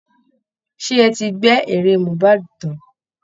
Ṣé ẹ ti gbẹ́ eré mohbad tán?